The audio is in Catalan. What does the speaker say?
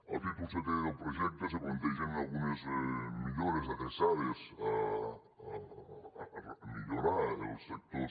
al títol setè del projecte se plantegen algunes millores adreçades a millorar els sectors